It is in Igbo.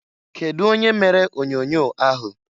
Kedu onye mere onyoonyoo ahụ?